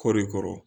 Kɔri kɔrɔ